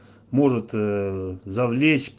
может за